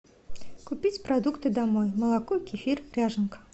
купить продукты домой молоко кефир ряженка